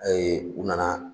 Ayi u nana